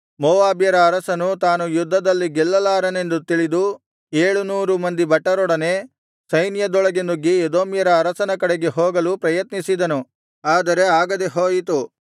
ಮೋವಾಬ್ಯರ ಅರಸನು ತಾನು ಯುದ್ಧದಲ್ಲಿ ಗೆಲ್ಲಲಾರೆನೆಂದು ತಿಳಿದು ಏಳು ನೂರು ಮಂದಿ ಭಟರೊಡನೆ ಸೈನ್ಯದೊಳಗೆ ನುಗ್ಗಿ ಎದೋಮ್ಯರ ಅರಸನ ಕಡೆಗೆ ಹೋಗಲು ಪ್ರಯತ್ನಿಸಿದನು ಆದರೆ ಆಗದೆಹೋಯಿತು